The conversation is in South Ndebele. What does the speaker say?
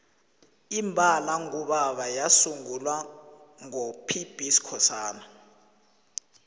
imbala ngubaba yasungulwa ngo pb skhosana